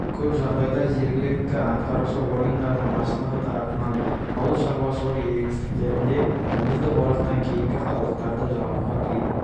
көп жағдайда жергілікті атқарушы органдардың басшылығы тарапынан ауыл шаруашылығы егістіктерінде аңыздық орақтан кейінгі қалдықтарды жағуға тыйым